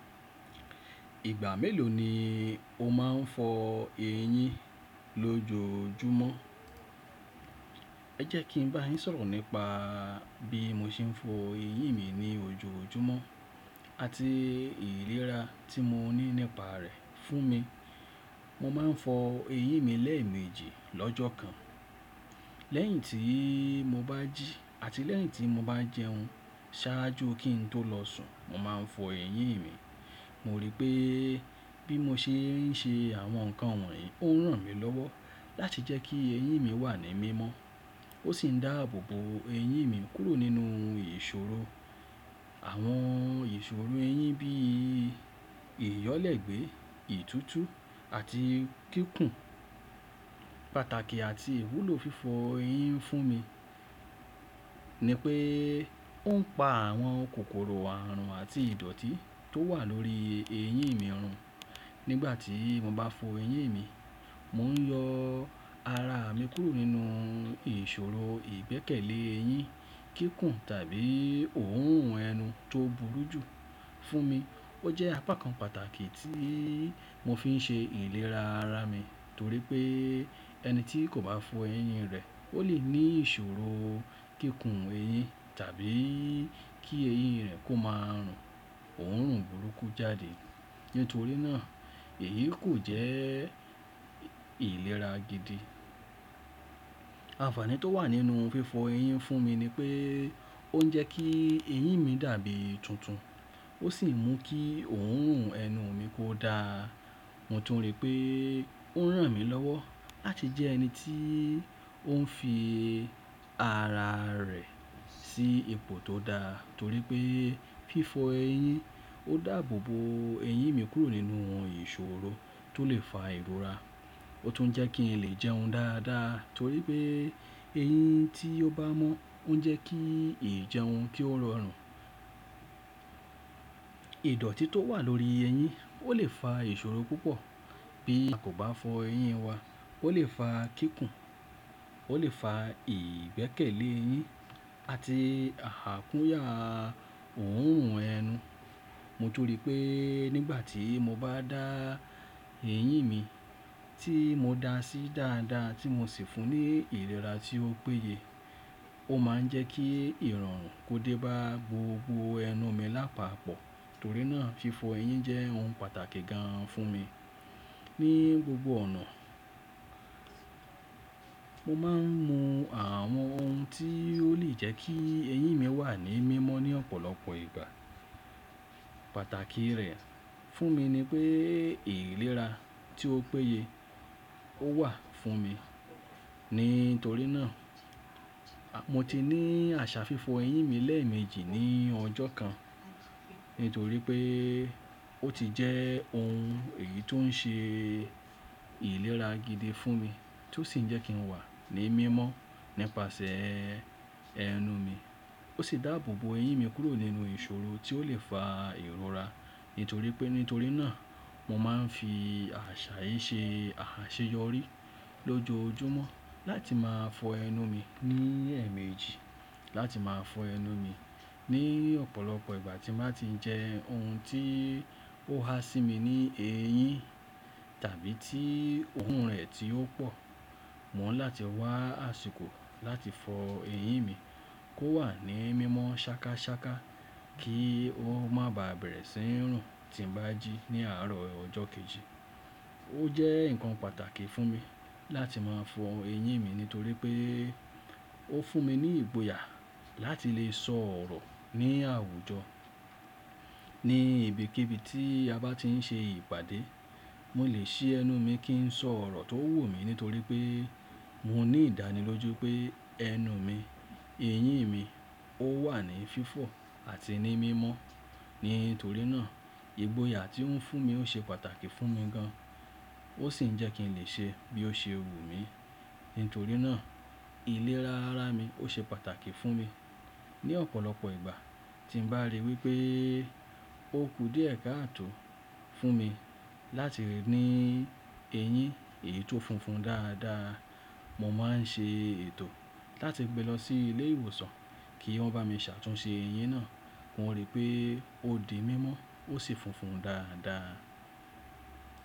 Ìgbà mélòó ni o máa ń fọ eyín lójoójúmọ́? Ẹ jẹ́ kí n bá yín sọ̀rọ̀ nípa bí mo ṣe ń fọ eyín mi ní ojoojúmọ́ àti ìlera tí mo ní nípa rẹ̀ fún mi. Mo máa ń fọ eyín mi lẹ́ẹ̀mejì lọ́jọ́ kan. Lẹ́yìn tí mo bá jí àti lẹ́yìn tí mo bá jẹun ṣáájú kí n tó lọ sùn, mo máa ń fọ eyín mi. Mo rí pé bí mo ṣe ń ṣe àwọn nǹkan wọ̀nyí ó ń ràn mí lọ́wọ́ láti jẹ́ kí eyín mi wà ní mímọ́. Ó sì ń dáàbò bo eyín mi kúrò nínú ìṣòro. Àwọn ìṣòro eyín bí ìyọ́lẹ̀ gbé, ìtútù àti kíkun. Pàtàkì àti ìwúlò fífọ eyín fún mi ni pé ó ń pa àwọn kòkòrò àrùn àti ìdọ̀tí tó wà lórí eyín mi run. Nígbà tí mo bá fọ eyín mi, mò ń yọ ara mi kúrò nínú ìṣòro ìgbẹ́kẹ̀lé eyín, kíkun tàbí òórùn ẹnu tó burú jù fún mi. Ó jẹ́ apakan pàtàkì tí mo fi ń ṣe ìlera ara mi torí pé ẹni tí kò bá fọ eyín rẹ̀, ó lè ní ìṣòro kíkun eyín tàbí kí eyín rẹ̀ kó máa rùn òórùn burúkú jáde. Nítorí náà, èyí kò jẹ́ ìlera gidi. Àfààní tó wà nínú fífọ eyín fún mi ni pé ó ń jẹ́ kí eyín mi dàbí tuntun. Ó sì ń mú kí òórùn ẹnu mi kó dáa. Mo tún rí pé ó ń ràn mí lọ́wọ́ láti jẹ ẹni tí ó ń fi ara rẹ̀ sí ipo tó dáa torí pé fífọ eyín ó dààbò bo eyín mi kúrò nínú ìṣòro tó lè fa ìrora. Ó tún jẹ́ kí n lè jẹun dáadáa torí pé eyín tí ó bá mọ́ ń jẹ́ kí ìjẹun kí ó rọrùn. Ìdọ̀tí tó wà lórí eyín ó lè fa ìṣòro púpọ̀ bí a kò bá fọ eyín wa. Ó lè fa kíkun, ó lè fa ìgbẹ́kẹ̀lé eyín àti àkúnyà òórùn ẹnu. Mo tún rí pé nígbà tí mo bá dá eyín mi tí mo da sí dáadáa tí mo sì fún ní ìlera tí ó péye, ó máa ń jẹ́ kí ìrọ̀rùn kó dé bá gbogbo ẹnu mi lápapọ̀. Torí náà fífọ eyín jẹ́ ohun pàtàkì gan fún mi ní gbogbo ọ̀nà. Mo máa ń mu àwọn ohun tí ó lè jẹ́ kí eyín mi wà ní mímọ́ ní ọ̀pọ̀lọpọ̀ ìgbà. Pàtàkì rẹ̀ fún mi ni pé ìlera tí ó péye ó wà fún mi. Nítorí náà, mo ti ní àṣà fífọ eyín mi lẹ́ẹ̀mejì ní ọjọ́ kan nítorí pé ó ti jẹ́ ohun èyí tó ń ṣe ìlera gidi fún mi tó sì ń jẹ́ kí n wà ní mímọ́ nípasẹ̀ ẹnu mi. Ó sì dáàbò bo eyín mi kúrò nínú ìṣòro tí ó lè fa ìrora. Nítorí pé nítorí náà mo máa ń fi àṣà yìí ṣe àṣeyọrí lójoójúmọ́ láti máa fọ ẹnu mi ní ẹ̀ẹ̀mejì, láti máa fọ ẹnu mi ní ọ̀pọ̀lọpọ̀ ìgbà tí màá ti jẹ ohun tí ó ha sí mi ní eyín tàbí tí òórùn rẹ̀ tí ó pò. Mò ń láti wá àsìkò láti fọ eyín mi kó wà ní mímọ́ ṣákáṣáká kí ó má ba bẹ̀rẹ̀ sí ń rùn tí ń bá jí ní àárọ̀ ọjọ́ kejì. Ó jẹ́ nǹkan pàtàkì fún mi láti máa fọ eyín mi nítorí pé ó fún mi ní ìgboyà láti lè sọ̀ orọ̀ ní àwùjọ ní ibikíbi tí a bá ti ń ṣe ìpàdé. Mo lè ṣí ẹnu mi kí ń sọ̀ orọ̀ tó wù mí nítorí pé mo ní ìdánilójú pé ẹnu mi, eyín mi ó wà ní fífọ̀ àti ní mímọ́. Nítorí náà ìgboyà tí ó ń fún mi ó ṣe pàtàkì fún mi gan. Ó sì ń jẹ́ kí n lè ṣe bí ó ṣe wù mí. Nítorí náà ìlera ara mi ó ṣe pàtàkì fún mi. Ní ọ̀pọ̀lọpọ̀ ìgbà tí n bàá rí wípé ó kú díẹ̀ káàtò fún mi láti rí ní eyín èyí tó funfun dáadáa, mo máa ń ṣe ètò láti gbe lọ sí ilé ìwòsàn kí wọ́n bá mi ṣàtúnṣe eyín náà. Mo rí pé ó di mímọ́ ó sì funfun dáadáa.